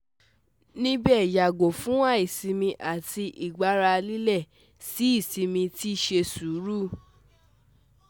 Nibe yago fun aisimi ati igbara lile, ni isimi ati se suru